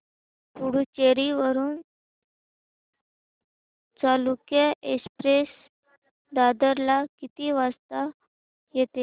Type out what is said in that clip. पुडूचेरी वरून चालुक्य एक्सप्रेस दादर ला किती वाजता येते